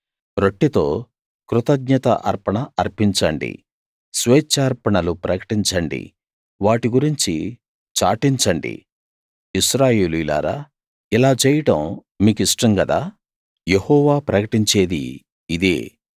రొట్టెతో కృతజ్ఞత అర్పణ అర్పించండి స్వేచ్ఛార్పణలు ప్రకటించండి వాటి గురించి చాటించండి ఇశ్రాయేలీయులారా ఇలా చేయడం మీకిష్టం గదా యెహోవా ప్రకటించేది ఇదే